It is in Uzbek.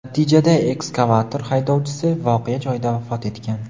Natijada ekskavator haydovchisi voqea joyida vafot etgan.